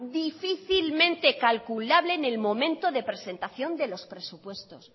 difícilmente calculable en el momento de presentación de los presupuestos